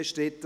Art.